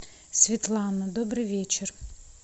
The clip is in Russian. светлана добрый вечер